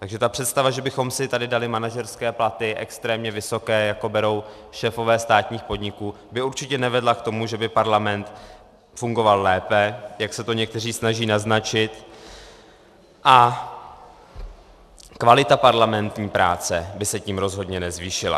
Takže ta představa, že bychom si tady dali manažerské platy, extrémně vysoké, jaké berou šéfové státních podniků, by určitě nevedla k tomu, že by parlament fungoval lépe, jak se to někteří snaží naznačit, a kvalita parlamentní práce by se tím rozhodně nezvýšila.